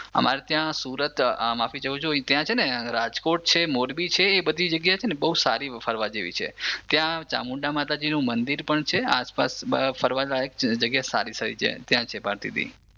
અમારે ત્યાં સુરત માફી ચાહું છું ત્યાં છે ને રાજકોટ છે મોરબી છે એ બધી જગ્યા છે ને બહું સારી ફરવા જેવી છે ત્યાં ચામુંડામાતાજીનું મંદિર પણ છે આસપાસમાં ફરવા લાયક જગ્યા સારી સારી છે ભારતિદિ